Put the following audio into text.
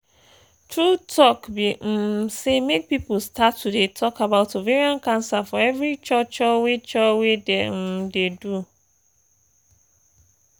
true talk be um say make people start to dey talk about ovarian cancer for every cho cho wey cho wey dey um dey do